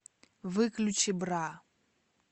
выключи бра